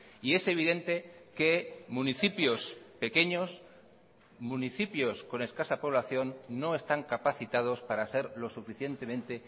y es evidente que municipios pequeños municipios con escasa población no están capacitados para ser lo suficientemente